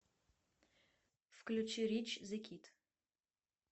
включи рич зэ кид